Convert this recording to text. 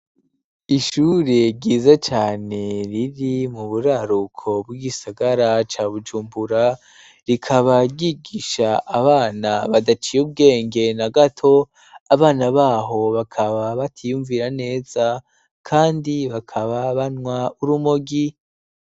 Ishure ryiza cyane riri mu buraruko bw'igisagara ca bujumbura rikaba ryigisha abana badaciye ubwenge na gato abana baho bakaba batiyumvira neza kandi bakaba banwa urumogi.